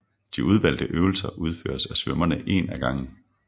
De udvalgte øvelser udføres af svømmerne en af gangen